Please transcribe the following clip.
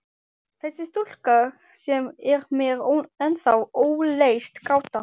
Þessa stúlku sem er mér ennþá óleyst gáta.